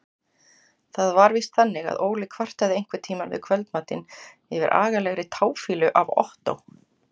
Það var víst þannig að Óli kvartaði einhverntíma við kvöldmatinn yfir agalegri táfýlu af Ottó.